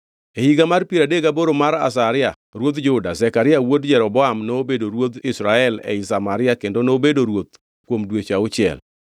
E higa mar piero adek gaboro mar Azaria ruodh Juda, Zekaria wuod Jeroboam nobedo ruodh Israel ei Samaria kendo nobedo ruoth kuom dweche auchiel.